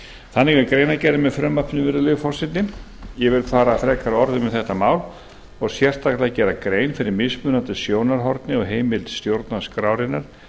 þannig er greinargerðin með frumvarpinu virðulegi forseti ég vil fara frekari orðum um þetta mál og sérstaklega gera grein fyrir mismunandi sjónarhorni og heimild stjórnarskrárinnar